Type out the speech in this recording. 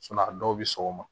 a dɔw bɛ sɔgɔma